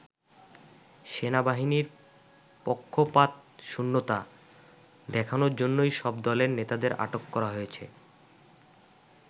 সেনাবাহিনীর পক্ষপাতশূন্যতা দেখানোর জন্যই সব দলের নেতাদের আটক করা হয়েছে।